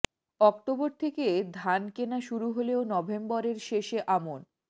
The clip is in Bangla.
অক্টোবর থেকে ধান কেনা শুরু হলেও নভেম্বরের শেষে আমন